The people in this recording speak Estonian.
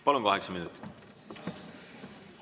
Palun, kaheksa minutit!